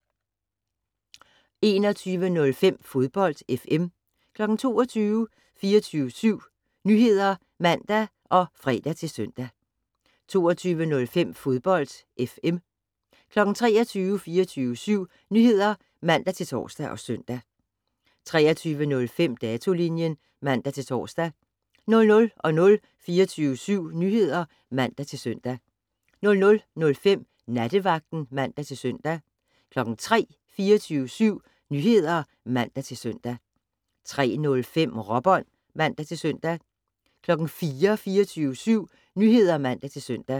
21:05: Fodbold FM 22:00: 24syv Nyheder (man og fre-søn) 22:05: Fodbold FM 23:00: 24syv Nyheder (man-tor og søn) 23:05: Datolinjen (man-tor) 00:00: 24syv Nyheder (man-søn) 00:05: Nattevagten (man-søn) 03:00: 24syv Nyheder (man-søn) 03:05: Råbånd (man-søn) 04:00: 24syv Nyheder (man-søn)